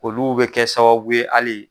Olu bɛ kɛ sababu ye hali